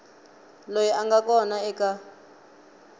loyi a nga kona eka